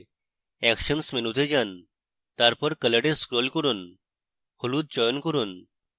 actions মেনুতে যান তারপর কলরে scroll করুন হলুদ চয়ন করুন